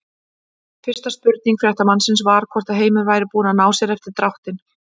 Fyrsta spurning fréttamannsins var hvort að Heimir væri búinn að ná sér eftir dráttinn?